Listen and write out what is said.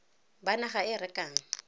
ba naga e e rekang